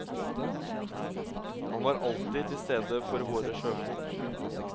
Han var alltid til stede for våre sjøfolk.